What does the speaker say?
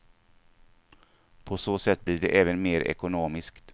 På så sätt blir det även mer ekonomiskt.